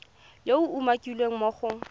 yo a umakiwang mo go